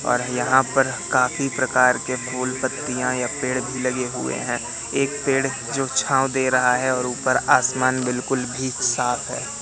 और यहां पर काफी प्रकार के फूल पत्तियाँ या पेड़ भी लगे हुए हैं एक पेड़ जो छांव दे रहा है और ऊपर आसमान बिल्कुल भी साफ है।